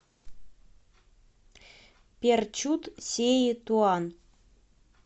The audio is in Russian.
перчут сеи туан